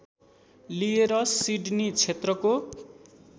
लिएर सिडनी क्षेत्रको